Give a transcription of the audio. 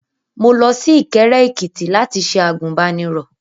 Mo lọ sí Ìkẹ́rẹ́ Èkìtì láti ṣe àgùnbánirọ̀.